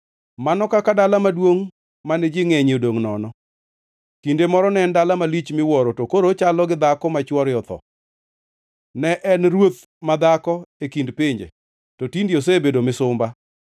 Mano kaka dala maduongʼ mane ji ngʼenyie odongʼ nono! Kinde moro ne en dala malich miwuoro to koro ochalo gi dhako ma chwore otho! Ne en ruoth madhako e kind pinje, to tinde osebedo misumba.